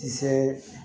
Kisɛ